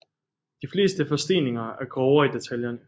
De fleste forsteninger er grovere i detaljerne